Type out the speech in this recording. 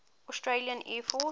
australian air force